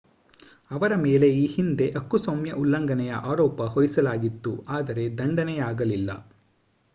ಅವರ ಮೇಲೆ ಈ ಹಿಂದೆ ಹಕ್ಕುಸ್ವಾಮ್ಯ ಉಲ್ಲಂಘನೆಯ ಆರೋಪ ಹೊರಿಸಲಾಗಿತ್ತು ಆದರೆ ದಂಡನೆಯಾಗಲಿಲ್ಲ